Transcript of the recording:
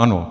Ano.